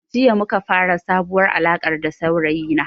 Jiya muka fara sabuwar alarka da saurayi na